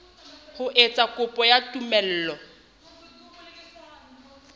ho etsa kopo ya tumello